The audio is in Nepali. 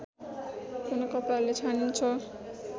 कुनै कपडाले छानिन्छ